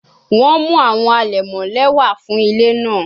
Wọn mu awọn alẹmọ lẹwa fun ile naa